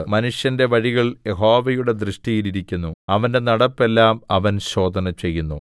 മനുഷ്യന്റെ വഴികൾ യഹോവയുടെ ദൃഷ്ടിയിൽ ഇരിക്കുന്നു അവന്റെ നടപ്പ് എല്ലാം അവൻ ശോധനചെയ്യുന്നു